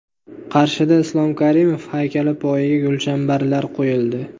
Qarshida Islom Karimov haykali poyiga gulchambarlar qo‘yildi.